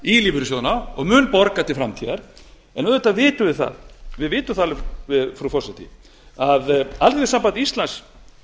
í lífeyrissjóðina og mun borga til framtíðar en auðvitað vitum við það frú forseti að alþýðusamband íslands